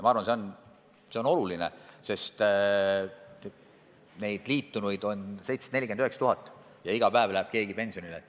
Ma arvan, et see on oluline, sest liitunuid on 749 000 ja iga päev läheb keegi pensionile.